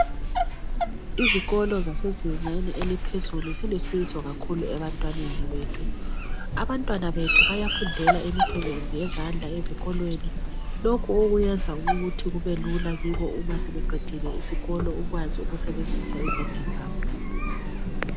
Izikolo zasezingeni eliphezulu zilusizo kakhulu ebantwaneni bethu . Abantwana bethu bayafundela imisebenzi yezandla ezikolweni. Lokhu okuyenza ukuthi kubelula kibo uma sebeqedile isikolo bekwazi ukusebenzisa izandla zabo.